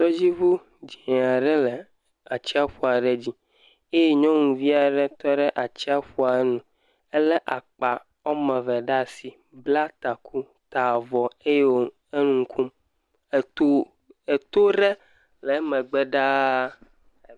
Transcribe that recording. Tɔdziŋu dzẽe aɖe le atsiaƒu aɖe dzi eye nyɔnuvi aɖe tɔ ɖe atsiaƒua nu. Elé woame ve ɖe asi, bla taa, taa vɔ eye wò enu kom. Eto eto rɛ lɛɛ megbɛ ɖaa.